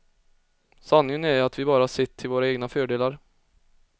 Sanningen är ju att vi bara sett till våra egna fördelar.